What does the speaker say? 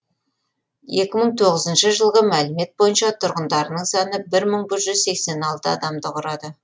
екі мың тоғызыншы жылғы мәліметтер бойынша тұрғындарының саны бір мың жүз сексен алты адамды құрады